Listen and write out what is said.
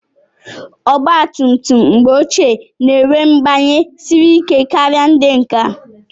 Ọgba tum tum mgbe ochie na-enwe mgbanye siri ike kara ndị nke a.